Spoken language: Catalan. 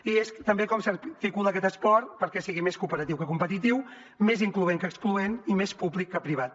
i és també com s’articula aquest esport perquè sigui més cooperatiu que competitiu més incloent que excloent i més públic que privat